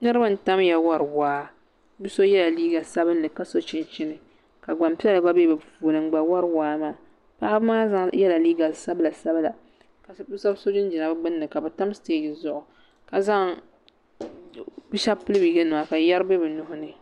Niriba n-tamya wari waa bɛ so nyɛla liiga sabinli ka so chinchini ka gbampiɛla gba be bɛ puuni n-gba wari waa maa paɣa bɛ maa yɛla liiga sabilasabila ka shɛba so jinjama ka bɛ tam sitagi zuɣu bɛ shɛba bi ye nɛma ka yɛri be bɛ nuhi ni